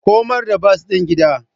Komar da bas din gida.